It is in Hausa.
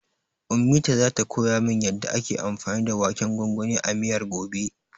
Ummita zata koya min yanda ake anfani da waken gwangwanin a miyar, gobe.